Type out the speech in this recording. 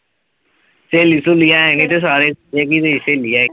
ਸਹੇਲੀ ਸਹੂਲੀ ਹੈ ਨਈ ਤੇ ਸਾਰੇ ਇਹੀ ਮੇਰੀ ਸਹੇਲੀ ਆ ।